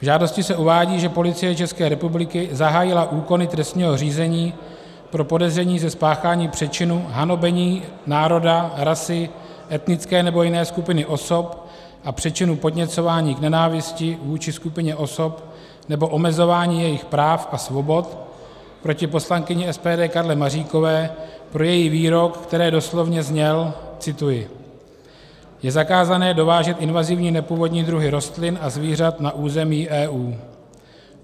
V žádosti se uvádí, že Policie České republiky zahájila úkony trestního řízení pro podezření ze spáchání přečinu hanobení národa, rasy, etnické nebo jiné skupiny osob a přečinu podněcování k nenávisti vůči skupině osob nebo omezování jejích práv a svobod proti poslankyni SPD Karle Maříkové pro její výrok, který doslovně zněl - cituji: Je zakázané dovážet invazivní nepůvodní druhy rostlin a zvířat na území EU.